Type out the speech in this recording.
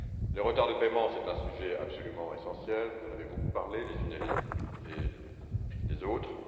Les retards de paiement sont un sujet absolument essentiel, dont vous avez beaucoup parlé, les uns et les autres.